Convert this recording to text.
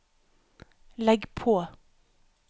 legg på